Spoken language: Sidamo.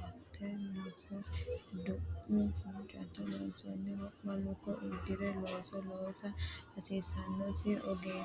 angate luko, du’mu hoccinni loonsoonni wo’ma luko uddi’re looso loosa hasiissannosi ogeessi hiikkonneeti?